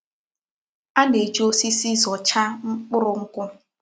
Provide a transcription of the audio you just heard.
A na-eji osisi zọchá mkpụrụ nkwụ́.